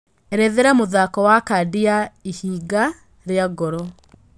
erethera mũthako wa cadi ya ĩhinga ria ngoro